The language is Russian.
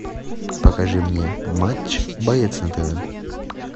покажи мне матч боец на тв